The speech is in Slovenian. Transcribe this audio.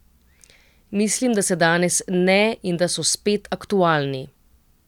Mislim, da se danes ne in da so spet aktualni.